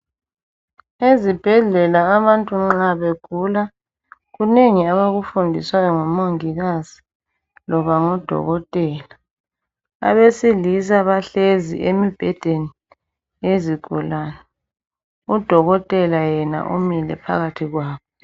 Ezibhedlela abantu nxa begula kunengi abakufundiswayo ngumongikazi loba ngudokotela. Abesilisa bahlezi emibhedeni yezigulane, udokotela yena umile phakathi kwabo.